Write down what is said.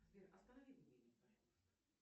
сбер останови будильник пожалуйста